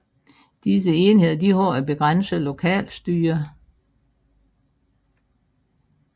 Disse enheder har et begrænset lokalstyre